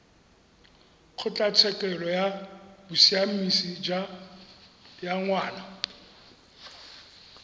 kgotlatshekelo ya bosiamisi ya ngwana